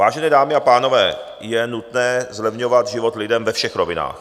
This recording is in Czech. Vážené dámy a pánové, je nutné zlevňovat život lidem ve všech rovinách.